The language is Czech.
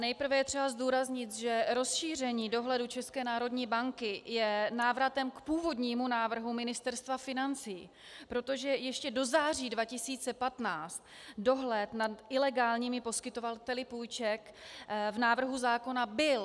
Nejprve je třeba zdůraznit, že rozšíření dohledu České národní banky je návratem k původnímu návrhu Ministerstva financí, protože ještě do září 2015 dohled nad ilegálními poskytovateli půjček v návrhu zákona byl.